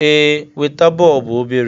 Ee, weta. bọọbụ obere